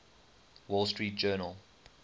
wall street journal